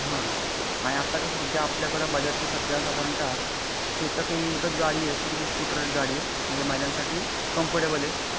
हा आणि आता कसा सध्या बजाजची सध्या साधारणता चेतक हि एकच गाडी अशी गाडी आहे जी स्कूटर गाडी आहे म्हणज महिलांसाठी कंफोर्टब्ले आहे.